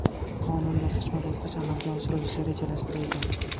Qonun bosqichma-bosqich amalga oshirilishi rejalashtirilgan.